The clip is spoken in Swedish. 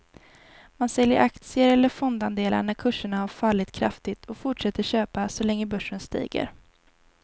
Man säljer aktier eller fondandelar när kurserna har fallit kraftigt och fortsätter köpa så länge börsen stiger.